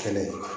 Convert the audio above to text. Fɛnɛ